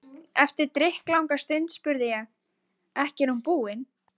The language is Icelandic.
Eftir drykklanga stund spurði ég: Ekki er hún búin?